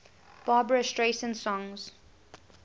barbra streisand songs